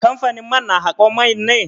Kamfanin man na haƙon man ne?